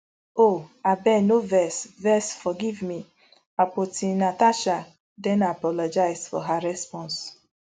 oh abeg no vex vex forgive me akpotinatasha den apologise for her response